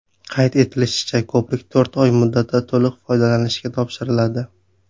Qayd etilishicha, ko‘prik to‘rt oy muddatda to‘liq foydalanishga topshiriladi.